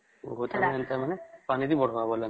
ପାନିଦେଇ ବଢାବ ବୋଲେ ନାଇଁ